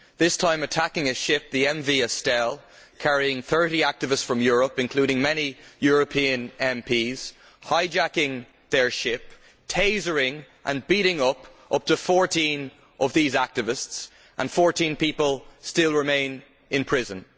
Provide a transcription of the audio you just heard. This time by attacking a ship, the MV Estelle, carrying thirty activists from Europe, including many European MPs, hijacking their ship, tasering and beating up to 14 of these activists, and now 14 people are still in prison.